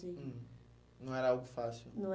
Uhum. Não era algo fácil. Não é